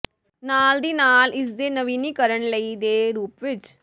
ਨਾਲ ਦੀ ਨਾਲ ਇਸ ਦੇ ਨਵੀਨੀਕਰਨ ਲਈ ਦੇ ਰੂਪ ਵਿੱਚ